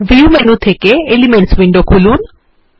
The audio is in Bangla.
ভিউ মেনু থেকে এলিমেন্টস উইন্ডো খুলুন